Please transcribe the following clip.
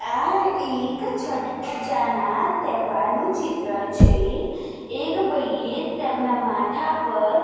આ એક છઠપૂજાના તહેવારનું ચિત્ર છે એક ભાઈએ તેમના માથા પર --